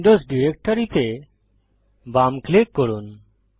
Windows directory তে বাম click করুন